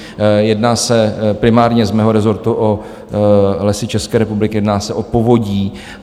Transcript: Jedná se primárně z mého rezortu o Lesy České republiky, jedná se o Povodí.